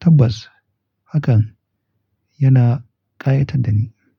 Tabbas hakan yana ƙayatar da ni.